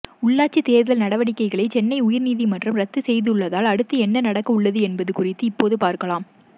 உள்ளாட்சி தேர்தல் நடவடிக்கைகளை சென்னை உயர்நீதிமன்றம் ரத்து செய்துள்ளதால் அடுத்து என்ன நடக்கவுள்ளது என்பது குறித்து இப்போது பார்க்கலாம்